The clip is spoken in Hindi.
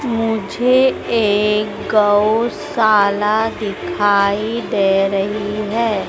मुझे एक गौशाला दिखाई दे रही है।